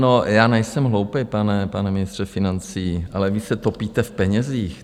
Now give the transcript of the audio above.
No, já nejsem hloupej, pane ministře financí, ale vy se topíte v penězích.